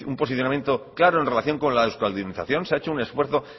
posicionamiento claro en relación con la euskaldunización se ha hecho un esfuerzo